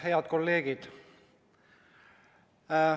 Head kolleegid!